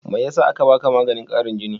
Me yasa aka baka maganin ƙarin jini?